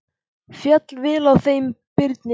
Féll vel á með þeim Birni.